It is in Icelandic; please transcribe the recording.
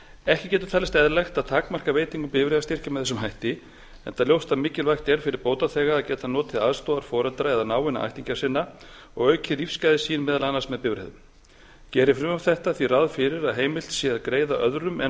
ekki getur talist eðlilegt að takmarka veitingu bifreiðastyrkja með þessum hætti enda ljóst að mikilvægt er fyrir bótaþega að geta notið aðstoðar foreldra eða náinna ættingja sinna og aukið lífsgæði sín meðal annars með bílferðum gerir frumvarp þetta því ráð fyrir að heimilt sé að greiða öðrum en